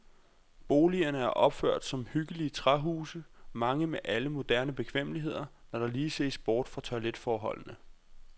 Boligerne er opført som hyggelige træhuse, mange med alle moderne bekvemmeligheder, når der lige ses bort fra toiletforholdene.